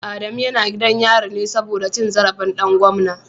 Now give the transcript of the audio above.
Adamu yana gidan yari ne saboda cin zarafin dan gwamna